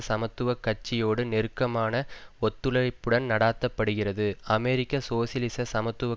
சமத்துவ கட்சியோடு நெருக்கமான ஒத்துழைப்புடன் நடாத்தப்படுகிறது அமெரிக்க சோசியலிச சமத்துவ